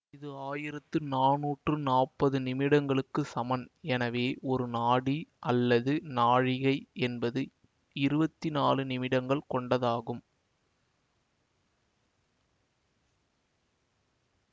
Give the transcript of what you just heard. இது ஆயிரத்து நானூற்று நாப்பது நிமிடங்களுக்கு சமன் எனவே ஒரு நாடி அல்லது நாழிகை என்பது இருவத்தி நாலு நிமிடங்கள் கொண்டதாகும்